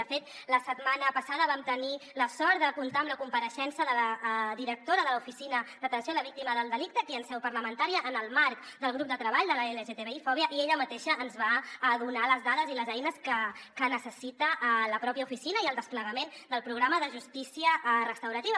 de fet la setmana passada vam tenir la sort de comptar amb la compareixença de la directora de l’oficina d’atenció a la víctima del delicte aquí en seu parlamentària en el marc del grup de treball de l’lgtbi fòbia i ella mateixa ens va donar les dades i les eines que necessita la pròpia oficina i el desplegament del programa de justícia restaurativa